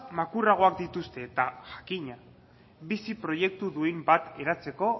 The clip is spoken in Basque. makurragoak dituzte eta jakina bizi proiektu duin bat eratzeko